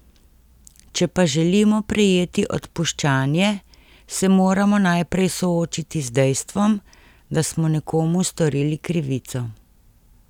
Če pa želimo prejeti odpuščanje, se moramo najprej soočiti z dejstvom, da smo nekomu storili krivico.